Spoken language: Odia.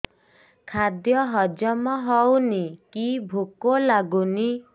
ଖାଦ୍ୟ ହଜମ ହଉନି କି ଭୋକ ଲାଗୁନି